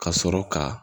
Ka sɔrɔ ka